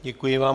Děkuji vám.